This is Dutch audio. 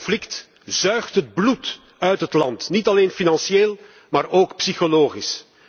Het conflict zuigt het bloed uit het land, niet alleen financieel, maar ook psychologisch.